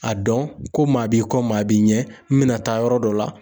A dɔn, ko maa b'i kɔ maa b'i ɲɛ ,n bɛna taa yɔrɔ dɔ la.